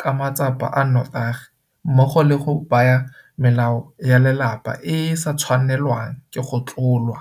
ka matsapa a notagi mmogo le go baya melao ya lelapa e e sa tshwanelwang go tlolwa.